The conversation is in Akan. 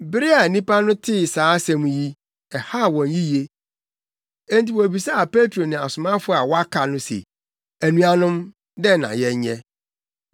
Bere a nnipa no tee saa asɛm yi, ɛhaw wɔn yiye. Enti wobisaa Petro ne asomafo a wɔaka no se, “Anuanom, dɛn na yɛnyɛ?”